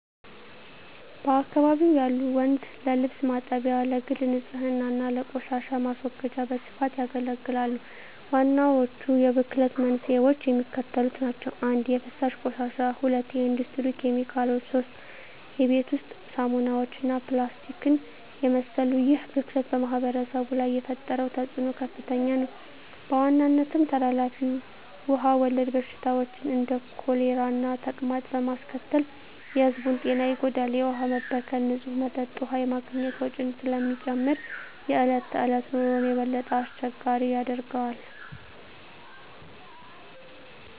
በአካባቢው ያሉ ወንዞች ለልብስ ማጠቢያ፣ ለግል ንፅህና እና ለቆሻሻ ማስወገጃ በስፋት ያገለግላሉ። ዋናዎቹ የብክለት መንስኤዎች የሚከተሉት ናቸው - 1) የፍሳሽ ቆሻሻ 2) የኢንዱስትሪ ኬሚካሎች 3) የቤት ውስጥ ሳሙናዎች እና ፕላስቲክን የመሰሉ ይህ ብክለት በማኅበረሰቡ ላይ የፈጠረው ተፅዕኖ ከፍተኛ ነው፤ በዋናነትም ተላላፊ ውሃ ወለድ በሽታዎችን (እንደ ኮሌራና ተቅማጥ) በማስከተል የሕዝቡን ጤና ይጎዳል። የውሃ መበከል ንፁህ መጠጥ ውሃ የማግኘት ወጪን ስለሚጨምር የዕለት ተዕለት ኑሮን የበለጠ አስቸጋሪ ያደርገዋል።